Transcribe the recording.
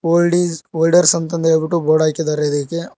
old is olders ಅಂತ್ ಅಂದ್ ಹೇಳಬಿಟ್ಟು ಬೋರ್ಡ್ ಹಾಕಿದ್ದಾರೆ ಇದಕ್ಕೆ--